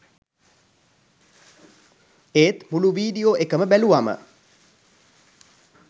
ඒත් මුළු වීඩියෝ එකම බැලුවම